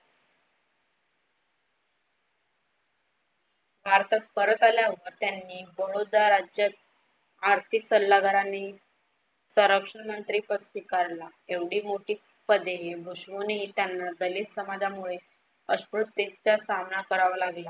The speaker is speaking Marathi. भारतात परत आल्यावर त्यांनी बडोदा राज्यात आर्थिक सल्लागार आणि सुरक्षा मंत्रिपद स्वीकारला. एवढी मोठी पदेही भुषवूनहि त्यांना दलित समाजामुळे अस्पृश्यतेचा सामना करावा लागला.